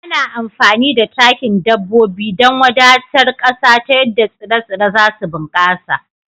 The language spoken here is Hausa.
Ana amfani da takin dabbobi don wadatar ƙasa ta yadda tsire-tsire za su bunkasa